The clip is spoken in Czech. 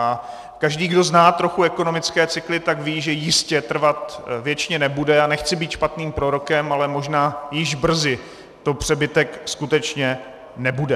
A každý, kdo zná trochu ekonomické cykly, tak ví, že jistě trvat věčně nebude, a nechci být špatným prorokem, ale možná již brzy to přebytek skutečně nebude.